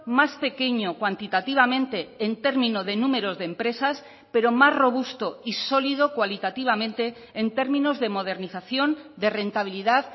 más pequeño cuantitativamente en término de números de empresas pero más robusto y sólido cualitativamente en términos de modernización de rentabilidad